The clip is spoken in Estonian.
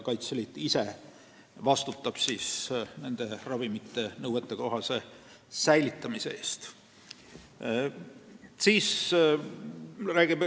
Kaitseliit ise vastutab ravimite nõuetekohase säilitamise eest.